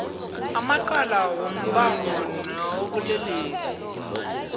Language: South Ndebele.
amacala wombango nawobulelesi